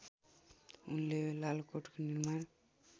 उनले लालकोटको निर्माण